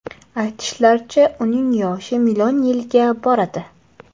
Aytishlaricha, uning yoshi million yilga boradi.